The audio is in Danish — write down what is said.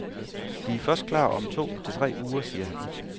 Vi først klar om to-tre uger, siger han.